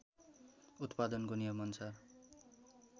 उत्पादनको नियमअनुसार